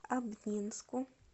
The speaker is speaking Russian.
обнинску